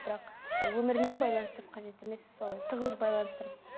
бірақ і өмірімен байланыстырып қажет емес солай тығыз байланыстырып